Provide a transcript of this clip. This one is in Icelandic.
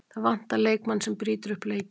Það vantar leikmann sem brýtur upp leikinn.